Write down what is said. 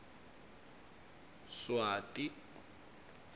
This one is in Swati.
swati